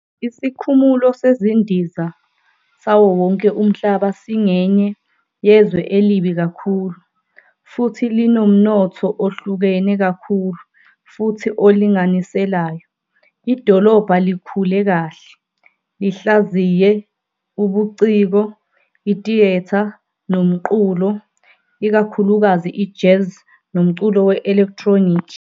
Isikhumulo sezindiza sawo wonke umhlaba singenye yezwe elibi kakhulu futhi linomnotho ohlukene kakhulu futhi olinganiselayo. Idolobha likhule kahle, lihlaziye, ubuciko, i-theatre nomculo, ikakhulukazi i-jazz nomculo we-elektroniki.